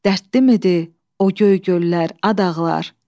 Dərdlimidir o göy göllər, ad ağlar.